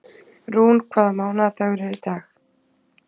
Rún, hvaða mánaðardagur er í dag?